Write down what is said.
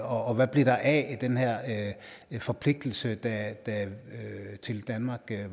og hvad blev der af den her forpligtelse da tele danmark